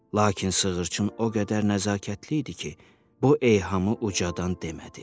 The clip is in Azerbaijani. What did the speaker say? Lakin sığırçın o qədər nəzakətli idi ki, bu eyhamı ucadan demədi.